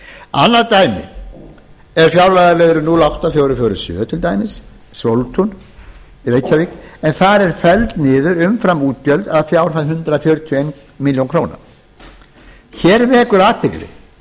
annað dæmi er fjárlagaliðurinn núll átta til fjögur hundruð fjörutíu og sjö sóltún reykjavík en þar eru felld niður umframútgjöld að fjárhæð hundrað fjörutíu og eina milljón króna hér vekur athygli